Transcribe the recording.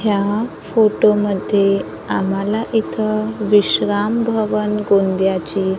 या फोटो मध्ये आम्हाला इथं विश्राम भवन गोंदियाची--